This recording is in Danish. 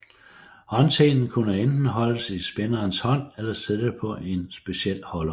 Håndtenen kunne enten holdes i spinderens hånd eller sidde på en speciel holder